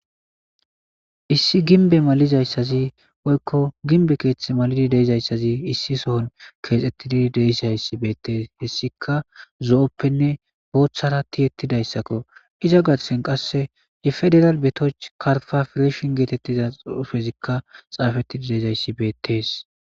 Issi ginbe malizayssazi woykko ginbe keeththe malidi deizayssazi issi sohon keexettidi deisayssi beettees hessika zo'ppenne booththara tiyettidayssakko iza gatesen qasse ye federal betoch karfa fireshin geetettiza ufezikka xaafettidi deezayssi beettees.